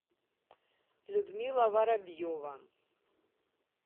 людмила воробьева